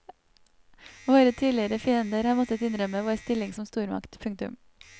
Våre tidligere fiender har måttet innrømme vår stilling som stormakt. punktum